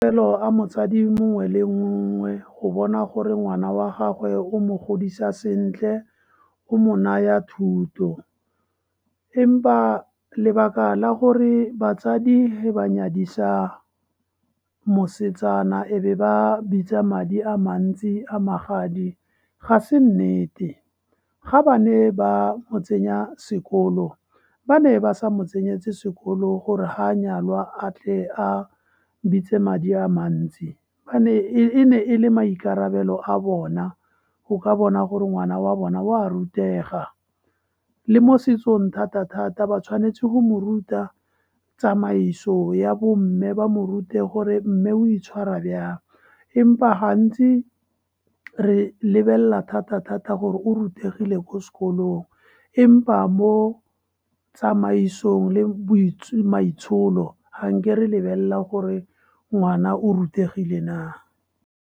A motsadi mongwe le mongwe go bona gore ngwana wa gagwe o mo godisa sentle, o mo naya thuto. Empa ba lebaka la gore batsadi ge ba nyadisa mosetsana e be ba bitsa madi a mantsi a magadi, ga se nnete. Ga ba ne ba mo tsenya sekolo, ba ne ba sa mo tsenyetse sekolo gore ga a nyalwa a tle a bitse madi a mantsi. E ne e le maikarabelo a bona go ka bona gore ngwana wa bona wa rutega. Le mosetsong thata-thata, ba tshwanetse go mo ruta tsamaiso ya bo mme, ba mo rute gore mme o itshwara bjang. Empa gantsi re lebelela thata-thata gore o rutegile ko sekolong, empa mo tsamaisong le maitsholo ga nke re lebelela gore ngwana o rutegile na.